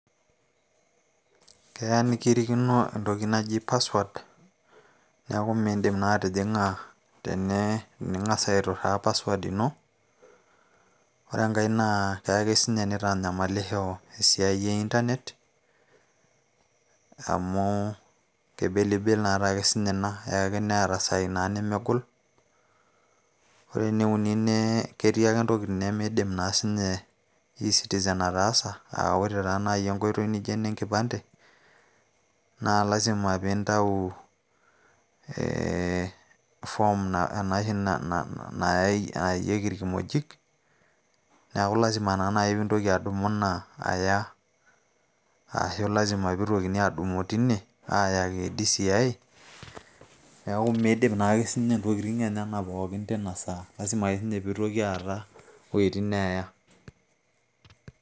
keya nikirikino entoki naji password neeku naa miindim naa atijing'a tening'as naa aituraa password ino ore enkay naa keya ake siininye nitanyamalisho esiai e internet amu kebelibel naatake siininye ina eya ake neeta isaai naa nemegol ore ene uni ne ketii ake ntokitin nemiidim naa siinye e citizen ataasa aa ore taa naaji enkoitoi nijo enenkipande naa lazima piintau form ena oshi nayayieki irkimojik neeku lazima naa naaji piintoki adumu ina aya ashu lazima piitokini adumu tine aayaki DCI neeku miidip naake siinye intokitin enyenak pookin tina saa lazima ake piitoki siininye aata iwuejitin neeya.